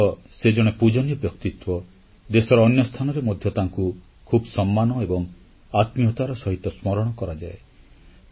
ସେ ଅଂଚଳରେ ତ ସେ ଜଣେ ପୂଜନୀୟ ବ୍ୟକ୍ତିତ୍ୱ ଦେଶର ଅନ୍ୟ ସ୍ଥାନରେ ମଧ୍ୟ ତାଙ୍କୁ ଖୁବ୍ ସମ୍ମାନ ଏବଂ ଆତ୍ମୀୟତାର ସହିତ ସ୍ମରଣ କରାଯାଏ